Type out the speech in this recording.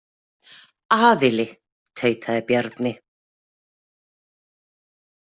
Aðili, tautaði Bjarni.